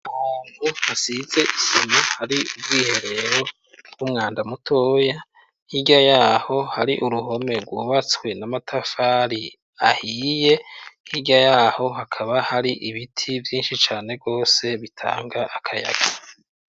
Ahantu hasize isima hari ubwiherero bw'umwanda mutoya, hirya yaho hari uruhome rwubatswe n'amatafari ahiye hirya yaho hakaba hari ibiti vyinshi cane rwose bitanga akayaga.